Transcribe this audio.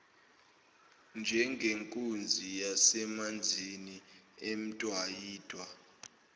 njengenkunzi yasemanzini emdwayidwa